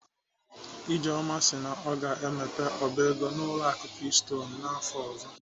Ijeoma si na ọ ga-emepe ọba ego n'ụlọ akụ keystone afọ ọzọ m